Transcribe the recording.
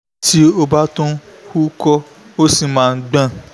tí ó bá tún uko si ó máa ń gbọ̀n